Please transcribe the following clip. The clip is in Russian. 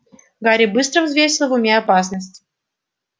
гарри быстро взвесил в уме опасность